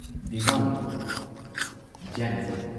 Diwali ꯖꯦꯟꯅꯤꯖꯝ